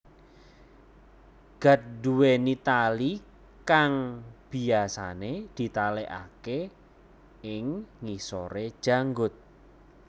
Gat duweni tali kang biyasane ditalekake ing ngisore janggut